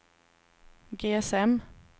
GSM